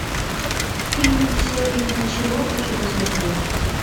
фильм все или ничего хочу посмотреть